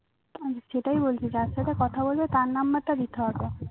অরে সেটাই বলছি যার সাথে কথা বলবে তার number টা দিতে হবে